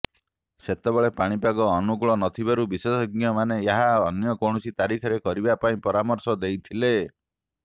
ସେତେବେଳେ ପାଣିପାଗ ଅନୁକୂଳ ନଥିବାରୁ ବିଶେଷଜ୍ଞମାନେ ଏହା ଅନ୍ୟ କୌଣସି ତାରିଖରେ କରିବା ପାଇଁ ପରାମର୍ଶ ଦେଇଥିଲେ